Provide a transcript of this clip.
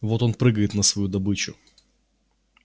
вот он прыгает на свою добычу